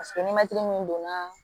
Paseke ni mɛtiri min donna